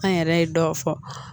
An yɛrɛ ye dɔ fɔ